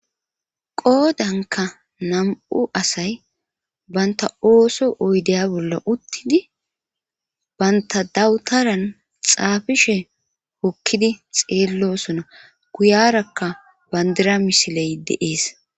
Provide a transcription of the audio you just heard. qoodanka nam7u asay banta ooso oydeya bolla uttidi banta dawutaran xaafishe hokkidi xeellosona guyarakka bandira misiley deees